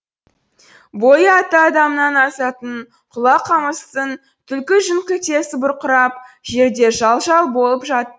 бойы атты адамнан асатын құла қамыстың түлкі жүн күлтесі бұрқырап жерде жал жал болып жатты